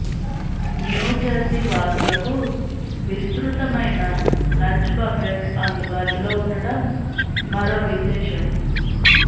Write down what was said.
New Jersey వాసులకు విస్తృతమైన lunch buffet అందుబాటులో ఉండటం మరో విశేషం